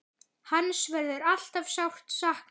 Hans verður alltaf sárt saknað.